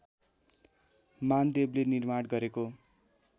मानदेवले निर्माण गरेको